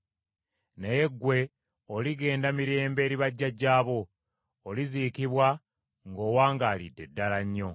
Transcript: Naye ggwe oligenda mirembe eri bajjajjaabo; oliziikibwa ng’owangaalidde ddala nnyo.